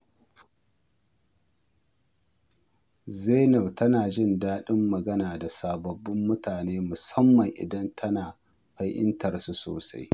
Zainab tana jin daɗin magana da sababbin mutane musamman idan tana fahimtarsu sosai.